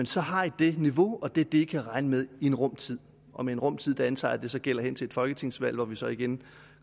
så har i det niveau og det er det i kan regne med i en rum tid og med en rum tid antager jeg at det gælder hen til et folketingsvalg hvor vi så igen